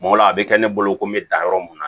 o la a bɛ kɛ ne bolo ko n bɛ dan yɔrɔ mun na